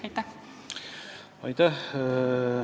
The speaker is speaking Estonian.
Aitäh!